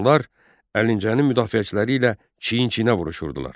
Onlar Əlincənin müdafiəçiləri ilə çiyin-çiyinə vuruşurdular.